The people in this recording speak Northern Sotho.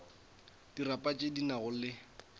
diripa tše di nago le